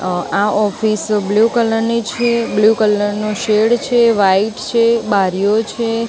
અહ આ office blue colour ની છે બ્લુ કલર નો શેડ છે વ્હાઇટ છે બારીઓ છે.